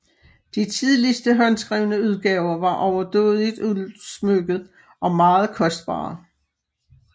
De tidligste håndskrevne udgaver var overdådigt udsmykket og meget kortbare